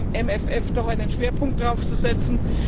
beim MFR doch einen Schwerpunkt darauf zu setzen.